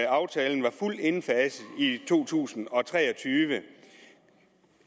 aftalen var fuldt indfaset i to tusind og tre og tyve